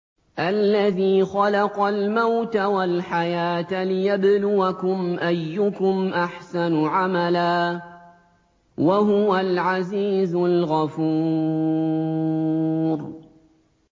الَّذِي خَلَقَ الْمَوْتَ وَالْحَيَاةَ لِيَبْلُوَكُمْ أَيُّكُمْ أَحْسَنُ عَمَلًا ۚ وَهُوَ الْعَزِيزُ الْغَفُورُ